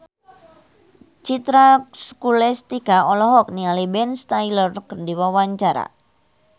Citra Scholastika olohok ningali Ben Stiller keur diwawancara